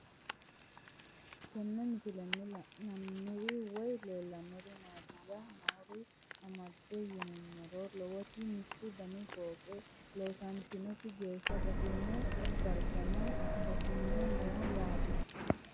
Tenne misilenni la'nanniri woy leellannori maattiya noori amadde yinummoro lowotti mittu danni fooqqe loonsoonnitti geesha batinye daraganno batinye noo yaatte